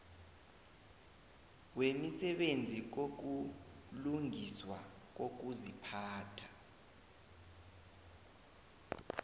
wemisebenzi yokulungiswa kokuziphatha